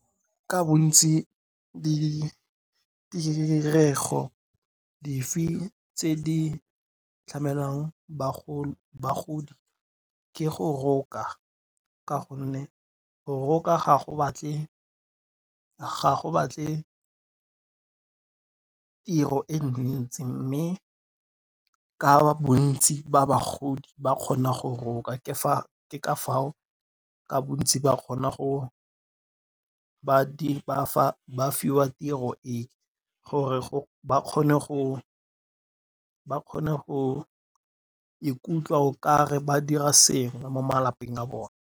Ka bontsi di dirego dife tse di tlamelang bagodi, ke go roka ka gonne go roka ga go batle tiro e ntsi mme ka bontsi ba bagodi ba kgona go roka ke ka foo ka bontsi ba fiwa tiro e gore ba kgone go ikutlwa o kare ba dira sengwe mo malapeng a bone.